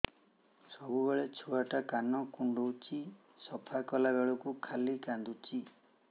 ସବୁବେଳେ ଛୁଆ ଟା କାନ କୁଣ୍ଡଉଚି ସଫା କଲା ବେଳକୁ ଖାଲି କାନ୍ଦୁଚି